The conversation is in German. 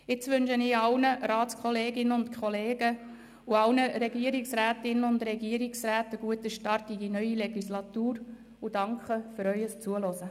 Jetzt wünsche ich allen Ratskolleginnen und -kollegen sowie allen Regierungsrätinnen und Regierungsräten einen guten Start in die neue Legislatur und danke für Ihr Zuhören.